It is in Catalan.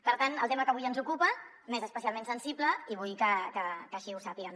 per tant el tema que avui ens ocupa m’és especialment sensible i vull que així ho sàpiguen